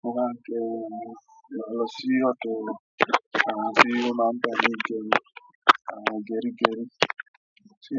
Mo máa ń gẹrun lọ sí ọ̀dọ̀ àwọn tí wọ́n máa ń bá mi gẹrun, àwọn gẹrígẹrí tí